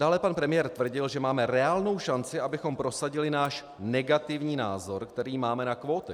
Dále pan premiér tvrdil, že máme reálnou šanci, abychom prosadili náš negativní názor, který máme na kvóty.